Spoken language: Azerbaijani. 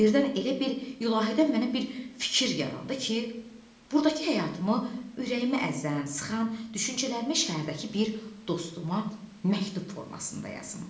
Birdən elə bir ilahidən mənə bir fikir yarandı ki, burdakı həyatımı, ürəyimi əzən, sıxan düşüncələrimi şəhərdəki bir dostuma məktub formasında yazım.